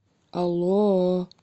алло